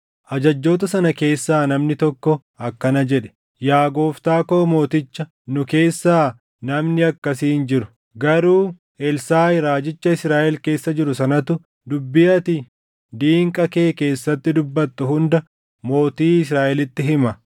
Ajajjoota sana keessaa namni tokko akkana jedhe; “Yaa gooftaa koo mooticha, nu keessaa namni akkasii hin jiru; garuu Elsaaʼi raajicha Israaʼel keessa jiru sanatu dubbii ati diinqa kee keessatti dubbattu hunda mootii Israaʼelitti hima.”